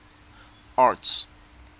arts